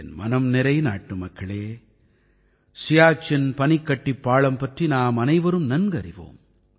என் மனம் நிறை நாட்டுமக்களே சியாச்சின் பனிக்கட்டிப்பாளம் பற்றி நாமனைவரும் அறிவோம்